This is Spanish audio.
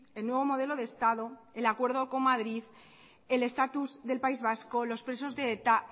el nuevo modelo de estado el acuerdo con madrid el estatus del país vasco los presos de eta